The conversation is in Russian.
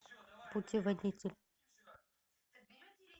путеводитель